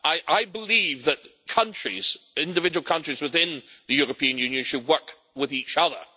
I believe that individual countries within the European Union should work with each other.